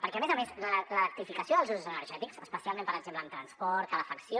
perquè a més a més l’electrificació dels usos energètics especialment per exemple en transport calefacció